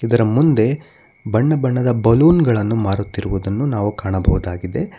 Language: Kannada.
ಇದರ ಮುಂದೆ ಬಣ್ಣ ಬಣ್ಣದ ಬಲೂನ್ ಗಳನ್ನು ಮಾರುತ್ತಿರುವುದನ್ನು ನಾವು ಕಾಣಬಹುದಾಗಿದೆ.